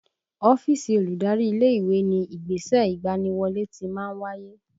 Ọ́fíìsì olùdarí ilé ìwé ni ìgbésẹ̀ ìgbaniwọlé ti máa ń wáyé